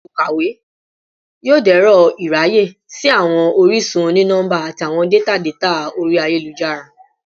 Olukawe yoo dẹrọ iraye si awọn orisun oni-nọmba ati awọn data data ori ayelujara